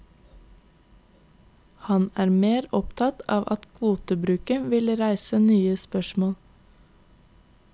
Han er mer opptatt av at kvotebruken vil reise nye spørsmål.